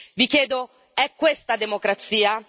Vi chiedo è questa democrazia?